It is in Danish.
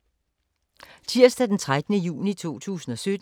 Tirsdag d. 13. juni 2017